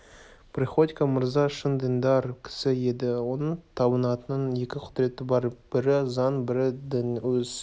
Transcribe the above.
приходько мырза шын діндар кісі еді оның табынатын екі құдіреті бар бірі заң бірі дін өз